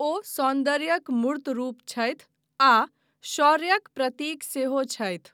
ओ सौन्दर्यक मूर्त रूप छथि आ शौर्यक प्रतीक सेहो छथि।